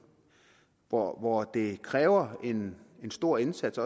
hvor hvor det kræver en stor indsats